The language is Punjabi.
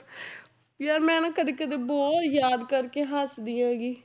ਯਾਰ ਮੈਂ ਨਾ ਕਦੇ ਕਦੇ ਬਹੁਤ ਯਾਦ ਕਰਕੇ ਹੱਸਦੀ ਹੈਗੀ।